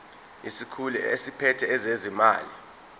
isikhulu esiphethe ezezimali